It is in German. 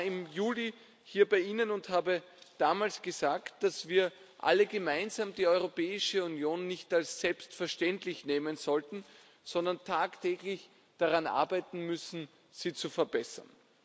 Ich war im Juli hier bei Ihnen und habe damals gesagt, dass wir alle gemeinsam die Europäische Union nicht als selbstverständlich ansehen sollten, sondern tagtäglich daran arbeiten müssen, sie zu verbessern.